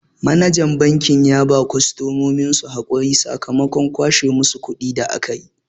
Manajan banki ya ba kostomominsu hakuri sakamakon kwashe musu kuɗi da akayi.